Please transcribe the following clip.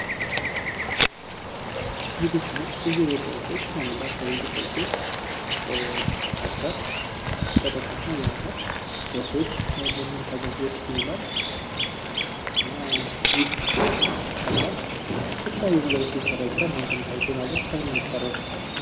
የቤትና የቢሮ እቃዎች ውስጥ አንደኛው የቤት እቃዎች ውስጥ አልጋ ተጠቃሽ ነው። ይህ አልጋ ለሰዎች የመኝታ አገልግሎት ይውላል። እና ይህ አልጋ ከተለያዩ ነገሮች ሊሰራ ይችላል። እናንተ የምታውቁት አልጋ ከምን ነው የተሰራው?